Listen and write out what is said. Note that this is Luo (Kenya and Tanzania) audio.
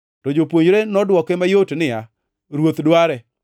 To jopuonjre nodwoke mayot niya, “Ruoth dware.”